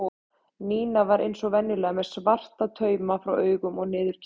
Nína var eins og venjulega með svarta tauma frá augum og niður á kinn.